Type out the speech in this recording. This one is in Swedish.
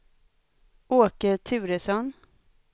Åke Turesson